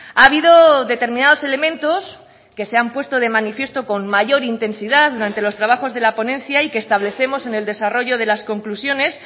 ha habido determinados elementos que se han puesto de manifiesto con mayor intensidad durante los trabajos de la ponencia y que establecemos en el desarrollo de las conclusiones